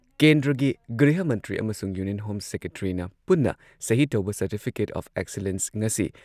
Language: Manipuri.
ꯀꯦꯟꯗ꯭ꯔꯒꯤ ꯒ꯭ꯔꯤꯍ ꯃꯟꯇ꯭ꯔꯤ ꯑꯃꯁꯨꯡ ꯌꯨꯅꯤꯌꯟ ꯍꯣꯝ ꯁꯦꯀ꯭ꯔꯦꯇ꯭ꯔꯤꯅ ꯄꯨꯟꯅ ꯁꯍꯤ ꯇꯧꯕ ꯁꯔꯇꯤꯐꯤꯀꯦꯠ ꯑꯣꯐ ꯑꯦꯛꯁꯤꯂꯦꯟꯁ ꯉꯁꯤ